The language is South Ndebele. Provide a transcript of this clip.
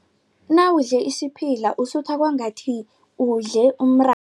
Nawudle isiphila usutha kwangathi udle